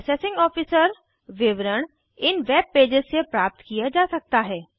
assessing officer विवरण इन webpages से प्राप्त किया जा सकता है